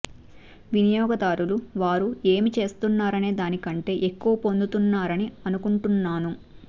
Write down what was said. వినియోగదారులు వారు ఏమి చేస్తున్నారనే దాని కంటే ఎక్కువ పొందుతున్నారని అనుకుంటున్నాను